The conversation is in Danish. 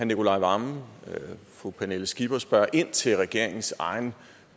nicolai wammen og fru pernille skipper spørger ind til regeringens egen